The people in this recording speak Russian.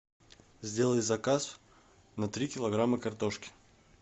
сделай заказ на три килограмма картошки